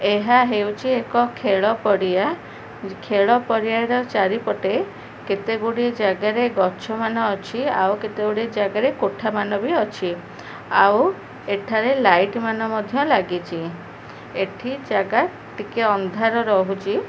ଏହା ହେଉଛି ଏକ ଖେଳ ପଡିଆ ଖେଳ ପଡିଆର ଚାରି ପଟେ କେତେଗୁଡିଏ ଜାଗାରେ ଗଛମାନ ଅଛି ଆଉ କେତେ ଗୁଡିଏ ଜାଗାରେ କୋଠାମାନ ବି ଅଛି ଆଉ ଏଠାରେ ଲାଇଟ ମାନ ମଧ୍ୟ ଲାଗିଛି ଏଠି ଜାଗା ଟିକେ ଅନ୍ଧାର ରହୁଛି।